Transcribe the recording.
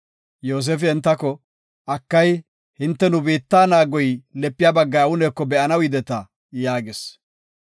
Yoosefi entako, “Akay, hinte nu biittan naagoy lepiya baggay awuneko be7anaw yideta” yaagis.